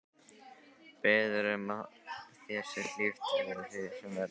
Biður um að þér sé hlíft við því sem verður.